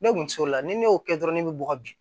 Ne kun ser'o la ni ne y'o kɛ dɔrɔn ne be bɔ bi